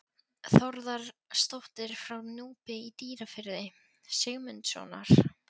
Þórðardóttir frá Núpi í Dýrafirði, Sigmundssonar.